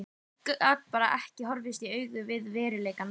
Ég gat bara ekki horfst í augu við veruleikann.